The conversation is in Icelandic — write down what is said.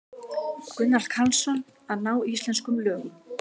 Gunnar Karlsson: Að ná íslenskum lögum.